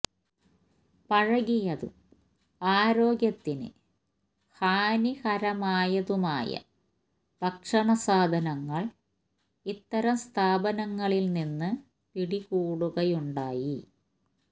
പഴകിയതും ആരോഗ്യത്തിന് ഹാനികരമായതുമായ ഭക്ഷണ സാധനങ്ങള് ഇത്തരം സ്ഥാപനങ്ങളില് നിന്ന് പിടികൂടുയുണ്ടായി